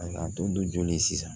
A don joli sisan